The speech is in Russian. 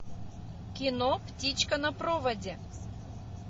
кино птичка на проводе